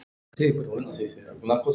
Ef innrás yrði gerð?